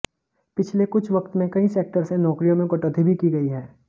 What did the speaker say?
पिछले कुछ वक्त में कई सेक्टर से नौकरियों में कटौती भी की गई है